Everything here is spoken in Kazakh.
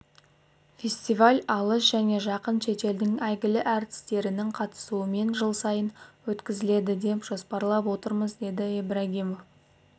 фестиваль алыс және жақын шетелдің әйгілі әртістерінің қатысуымен жыл сайын өткізіледі деп жоспарлап отырмыз деді ибрагимов